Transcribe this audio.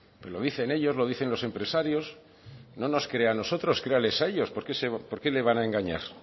pero lo dicen ellos los dicen los empresarios no nos crea a nosotros créanles a ellos por qué le van a engañar